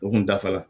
U kun dafara